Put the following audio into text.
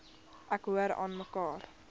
ek hoor aanmekaar